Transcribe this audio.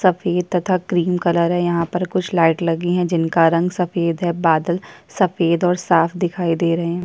सफेद तथा cream colour है यहाँ पर कुछ लाइट लगी है जिनका रंग सफेद है सफेद और साफ दिखाई दे रहा है।